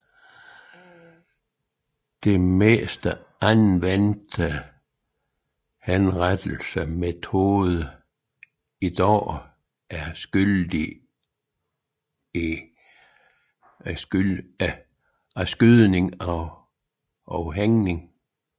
De mest anvendte henrettelsesmetoder i dag er skydning og hængning